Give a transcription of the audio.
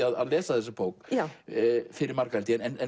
að lesa þessa bók fyrir marga